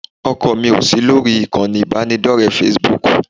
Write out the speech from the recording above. ọkọ mi ò sí lórí ìkànnì ìbánidọ́rẹ̀ẹ́ Facebook